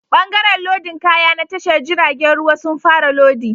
Bangaren lodin kaya na tashar jiragen ruwa sun fara lodi